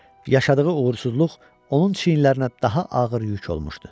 Yaşadığı uğursuzluq onun çiynlərinə daha ağır yük olmuşdu.